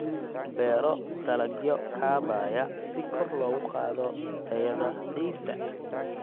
Beero dalagyo kaabaya si kor loogu qaado tayada ciidda.